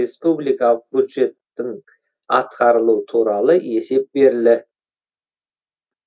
республикалық бюджеттің атқарылуы туралы есеп берілі